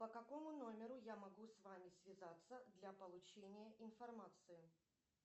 по какому номеру я могу с вами связаться для получения информации